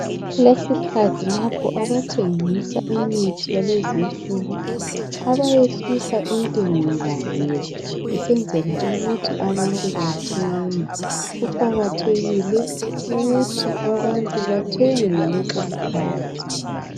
Kulesiķhathi lapho abathengisa imithi yalezi insuku abeyehlisa khona intengo yabo ukuze abantu bathenge. Kuqakathekile ukuthi abantu bathenge ngalesi isikhathi.